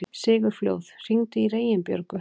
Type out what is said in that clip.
Sigurfljóð, hringdu í Reginbjörgu.